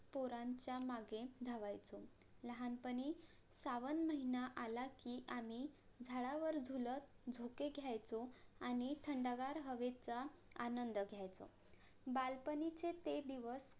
पोरांचा मागे धावायचो लहानपणी सावन महिना आला कि आम्ही झाडावर झुलत झोके घेयचो आणि थंडगार हवेचा आनंद घेयचो बालपणीचे ते दिवस